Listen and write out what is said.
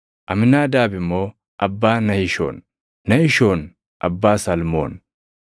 Amiinaadaab immoo abbaa Nahishoon; Nahishoon abbaa Salmoon;